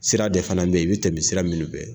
Sira de fana bɛ yen i bɛ tɛmɛ sira minnu fɛ